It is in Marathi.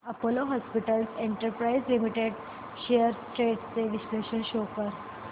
Apollo hospitals enterprise limited shares trends चे विश्लेषण शो कर